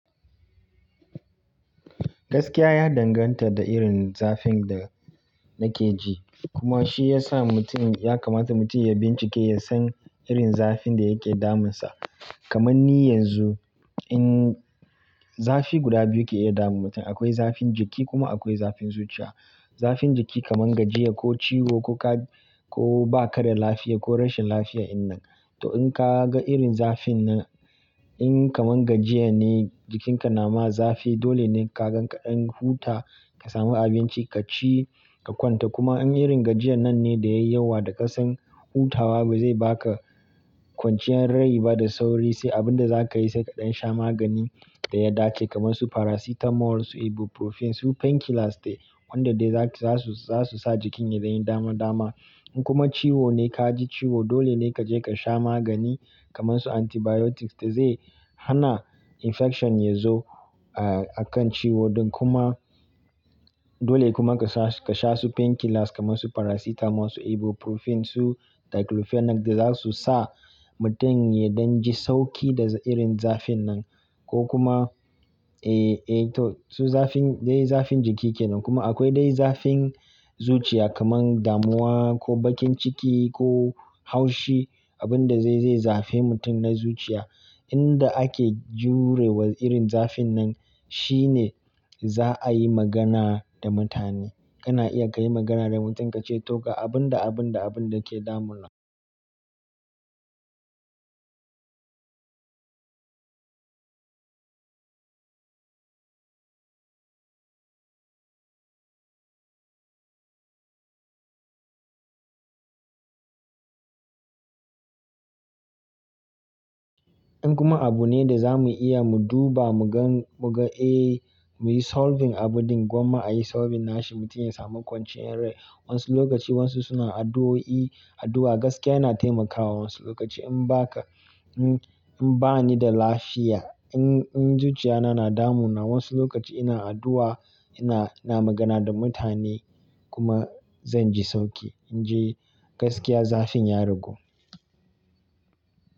Gaskiya ya danganta da irin zafin da nake ji, kuma shi ya sa mutum ya kamata mutum ya bincike ya san irin zafin da yake damunsa. Kaman ni yanzu, in zafi guda biyu ke iya damun mutum. Akwai zafin jiki kuma akwai zafin zuciya. Zafin jiki kaman gajiya ko ciwo ko ka, ko ba ka da lafiya, ko rashin lafiya in nan. To in ka ga irin zafin nan, in kaman gajiya ne, jikinka na ma zafi, dole ne ka gan kaɗan huta, ka sami abinci ka ci, ka kwanta kuma in irin gajiyan nan ne, da yayi yawa da kasan, hutawa ba zai ba ka kwanciyar rai ba da sauri, sai abin da za ka yi sai ka ɗan sha magani da ya dace, kaman su Paracetamol, su Ibuprofen, su painkillers dai wanda dai za su, za su sa jikin ya dan yi dama dama. In kuma ciwo ne ka ji ciwo, dole ne ka je ka sha magani, kaman su antibiotics da zai hana infection ya zo, ah, a kan ciwo din kuma, dole kuma ka sha su painkillers kaman su Paracetamol, su Ibuprofen, su Diclofenac, da za su sa mutum ya dan ji sauki da irin zafin nan. Ko kuma, eh, eh to su zafin dai zafin jiki kenan. Kuma akwai dai zafin zuciya, kaman damuwa ko bakin ciki ko haushi abin da zai, zai zafe mutum na zuciya. Inda ake jurewa irin zafin nan shine, za a yi magana da mutane. Kana iya ka yi magana da mutum, ka ce to ga abin da abin da abun da ke damuna. In kuma abu ne da za mu iya mu duba mu gan, mu ga eh mu yi solving abun din gwamma a yi solving nashi mutum ya samu kwanciyar rai. Wasu lokaci wasu suna addu'o'i, addu'a gaskiya yana taimakawa wasu lokaci, in ba ka, in ba ni da lafiya, in, in zuciya na, na damu na wasu lokaci ina addu'a, ina, ina magana da mutane. Kuma zan ji sauki. In ji gaskiya zafin ya ragu.